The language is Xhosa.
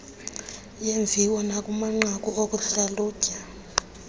yeemviwo nakumanqaku okuhlalutya